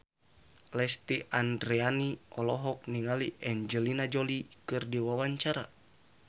Lesti Andryani olohok ningali Angelina Jolie keur diwawancara